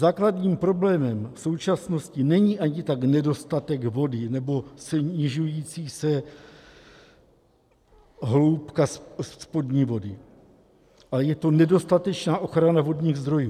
Základním problémem v současnosti není ani tak nedostatek vody nebo snižující se hloubka spodní vody, ale je to nedostatečná ochrana vodních zdrojů.